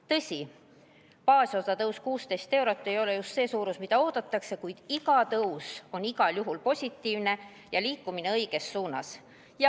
Tõsi, baasosa tõus 16 eurot ei ole just see, mida oodatakse, kuid iga tõus on igal juhul positiivne ja õiges suunas liikumine.